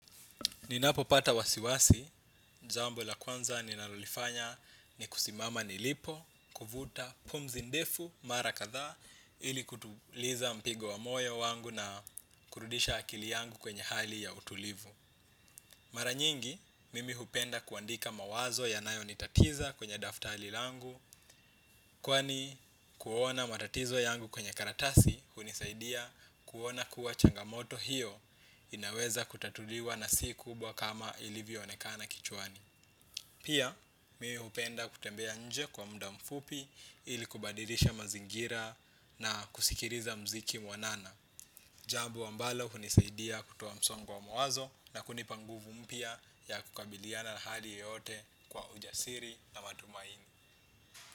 Ninapopata wasiwasi, jambo la kwanza ninalolifanya ni kusimama nilipo, kuvuta pumzi ndefu, mara kadhaa, ili kutuliza mpigo wa moyo wangu na kurudisha akili yangu kwenye hali ya utulivu. Mara nyingi, mimi hupenda kuandika mawazo yanayonitatiza kwenye daftari langu, kwani kuona matatizo yangu kwenye karatasi hunisaidia kuona kuwa changamoto hiyo inaweza kutatuliwa na si kubwa kama ilivyoonekana kichwani. Pia mimi hupenda kutembea nje kwa muda mfupi ili kubadilisha mazingira na kusikiliza muziki mwanana. Jambo ambalo hunisaidia kutoa msongo wa mawazo na kunipa nguvu mpya ya kukabiliana na hali yoyote kwa ujasiri na matumaini.